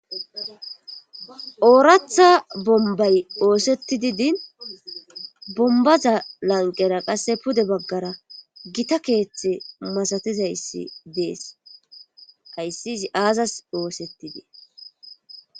Oratha bombay oosetti di din bombaza lanqera qasse pude baggara gita keeththe masatizayssi dees kaysizi aazas oosettidee.